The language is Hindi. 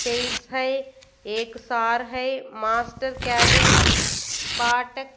चेयर्स है एक सर है मास्टर के भी